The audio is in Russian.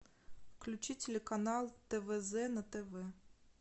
включи телеканал твз на тв